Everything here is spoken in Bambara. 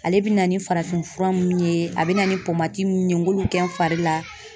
Ale bɛna ni farafin fura munnu ye a be na ni mun ye n k'olu kɛ n fari la.